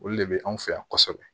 Olu de bɛ anw fɛ yan kosɛbɛ